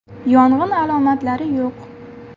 Yong‘in alomatlari yo‘q.